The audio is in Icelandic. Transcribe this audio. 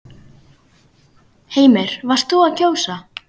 Heimir: Þú varst að kjósa?